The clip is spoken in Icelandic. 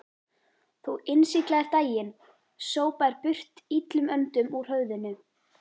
Þú innsiglaðir daginn, sópaðir burt illum öndum úr höfðinu.